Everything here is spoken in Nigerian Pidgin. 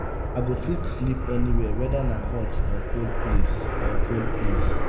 i go fit sleep anywhere weda na hot or cool place. or cool place.